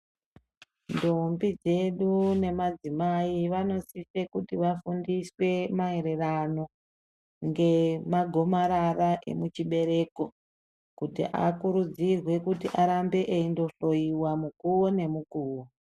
Ndomboidzedu nemadzimai vanosise kuti vafundiswe maererano ngemagomarara emuchibereko kuti akurudzirwe kuti arambe eindohloiwa mukuwo nemukuwo.